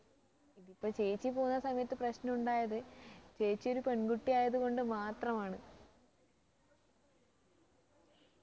ഇതിപ്പൊ ചേച്ചി പോകുന്ന സമയത്ത് പ്രശ്നമുണ്ടായത് ചേച്ചി ഒരു പെൺകുട്ടി ആയത് കൊണ്ട് മാത്രമാണ്